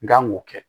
N kan k'o kɛ